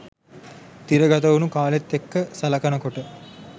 තිරගතවුණු කාලෙත් එක්ක සලකනකොට